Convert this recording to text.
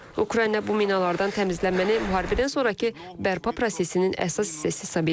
Ukrayna bu minalardan təmizlənməni müharibədən sonrakı bərpa prosesinin əsas hissəsi hesab edir.